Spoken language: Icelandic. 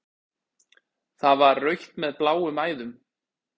Það var rautt með bláum æðum.